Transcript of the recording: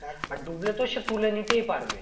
আর ডুবলে তো সে তুলে নিতেই পারবে